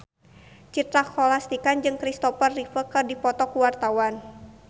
Citra Scholastika jeung Kristopher Reeve keur dipoto ku wartawan